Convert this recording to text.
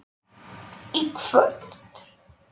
í kvöld.